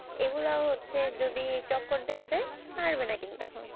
এগুলা হচ্ছে যদি টক্কর দেওয়া যায় পারবে না কিন্তু এখন